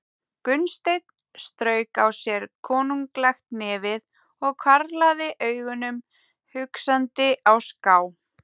Gunnsteinn strauk á sér konunglegt nefið og hvarflaði augunum hugsandi á ská.